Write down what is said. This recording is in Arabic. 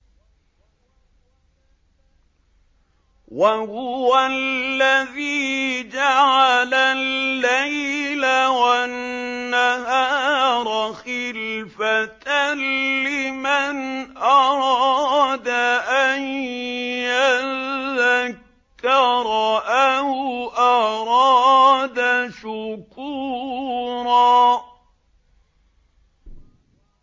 وَهُوَ الَّذِي جَعَلَ اللَّيْلَ وَالنَّهَارَ خِلْفَةً لِّمَنْ أَرَادَ أَن يَذَّكَّرَ أَوْ أَرَادَ شُكُورًا